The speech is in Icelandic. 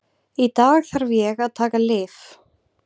Í dag þarf ég að taka lyf.